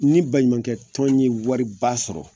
Ni baɲumankɛ tɔn ye wari ba sɔrɔ